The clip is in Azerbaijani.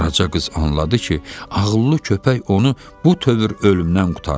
Qaraca qız anladı ki, ağıllı köpək onu bu tövür ölümdən qurtarıb.